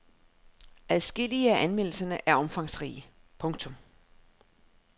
Adskillige af anmeldelserne er omfangsrige. punktum